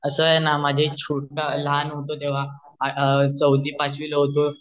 अस आहे न जेव्हा लहान होतो तेव्हा चं होतो छोटा होतो तेव्हा चौथी पाचवी ला होतो